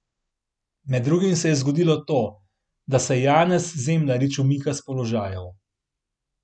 Med drugim se je zgodilo to, da se Janez Zemljarič umika s položajev.